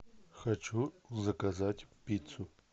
хочу заказать пиццу